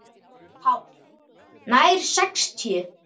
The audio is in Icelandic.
PÁLL: Nær sextíu.